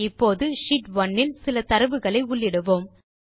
இப்போது ஷீட் 1 இல் சில தரவுகளை உள்ளிடுவோம்